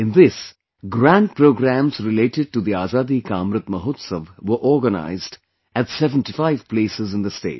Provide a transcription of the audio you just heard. In this, grand programs related to the Azadi Ka Amrit Mahotsav were organized at 75 places in the state